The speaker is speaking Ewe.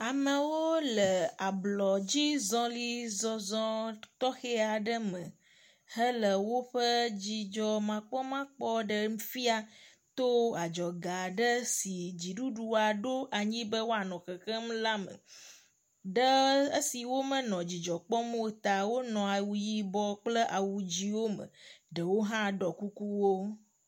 Amewo le ablɔdzi zɔlizɔzɔ tɔxe aɖe me hele woƒe dzidzɔmakpɔmakpɔ ɖem fia to adzɔga aɖe si dziɖuɖua ɖo anyi be woanɔ xexem la me. Ɖe esi womenɔ dzidzɔ kpɔm o ta wonɔ awu yibɔ kple awu dziwo me. Ɖewo hã ɖɔ kukuwo.